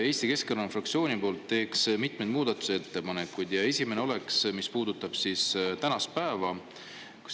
Eesti Keskerakonna fraktsiooni poolt teen mitmeid muudatusettepanekuid ja esimene puudutab tänast päeva.